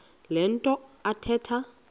le nto athetha